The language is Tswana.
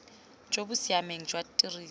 jo bo siameng jwa tiriso